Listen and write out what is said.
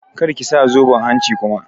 Kar ki sa zoben hanci kuma!